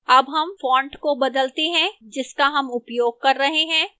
अब हम font को बदलते हैं जिसका हम उपयोग कर रहे हैं